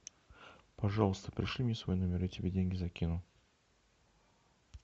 пожалуйста пришли мне свой номер я тебе деньги закину